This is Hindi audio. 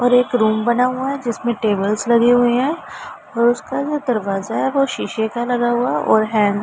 और एक रूम बना हुआ है जिसमें टेबल्स लगे हुए हैं और उसका जो दरवाजा है वो शीशे का लगा हुआ और हैण्ड --